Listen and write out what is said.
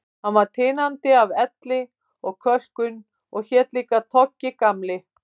Hann var tinandi af elli og kölkun og hét líka Toggi, Gamli